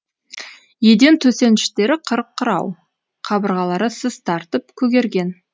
еден төсеніштері қырық құрау қабырғалары сыз тартып көгерген